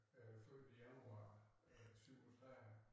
Og jeg født i januar øh 37